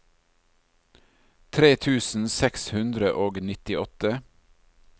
tre tusen seks hundre og nittiåtte